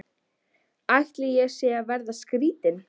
Ætli ég sé að verða skrýtin.